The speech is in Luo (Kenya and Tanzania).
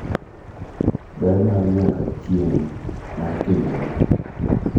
Ber ma nyaka chieng’ mar timbegi